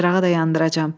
Çılçırağı da yandıracam.